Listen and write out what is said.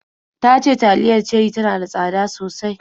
Ta ce taliyar Cherie tana da tsada sosai